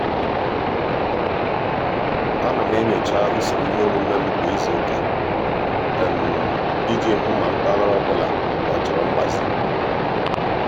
a na m enyocha usoro iheomume m kwa izuụka ị ji hụ ma mpaghara ọbụla ọ chọrọ mgbazi.